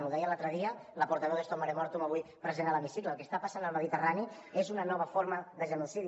ho deia l’altre dia la portaveu d’stop mare mortum avui present a l’hemicicle el que està passant al mediterrani és una nova forma de genocidi